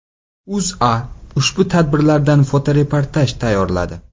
O‘zA ushbu tadbirlardan fotoreportaj tayyorladi .